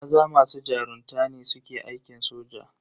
Maza masu jarunta ne suke aikin soja.